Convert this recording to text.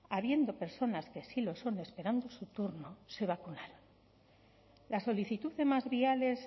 habiendo personas que sí lo son esperando su turno se vacunaran la solicitud de más viales